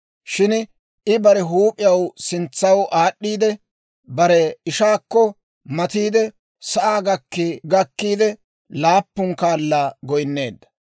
Shin I bare huup'iyaw sintsaw aad'd'iide, bare ishaakko matiidde, sa'aa gakki gakkiide laappun kaala goynneedda.